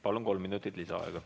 Palun, kolm minutit lisaaega!